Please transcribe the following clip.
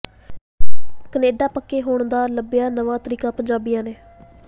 Canada ਪੱਕੇ ਹੋਣ ਦਾ ਲੱਭਿਆ ਨਵਾਂ ਤਰੀਕਾ ਪੰਜਾਬੀਆਂ ਨੇ